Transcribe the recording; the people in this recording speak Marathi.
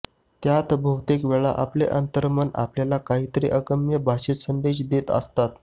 त्यात बहुतेक वेळा आपलं अंतर्मन आपल्याला काहीतरी अगम्य भाषेत संदेश देत असतं